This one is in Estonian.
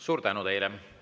Suur tänu teile!